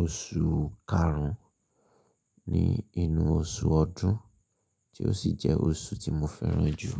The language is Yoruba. oṣù karun ni inú oṣù ọdún, tí ó sì jẹ́ oṣù tí mo fẹ́ràn jù.